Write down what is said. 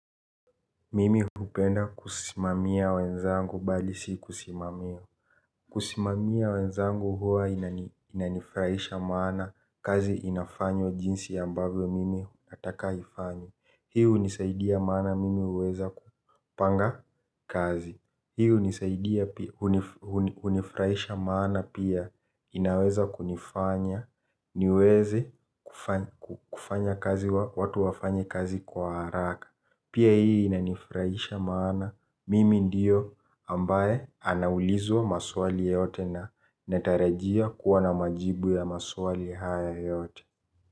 Mimi hupenda kusimamia wenzangu bali si kusimamiwa. Kusimamia wenzangu huwa inanifraisha maana kazi inafanywa jinsi ambavyo mimi nataka ifanywe. Hi hunisaidia maana mimi uweza kupanga kazi. Hi unisaidia unifraisha maana pia inaweza kunifanya niweze watu wafanye kazi kwa haraka pia inanifraisha maana mimi ndiyo ambaye anaulizwa maswali yote na anatarajiwa kuwa na majibu ya maswali hayo yote.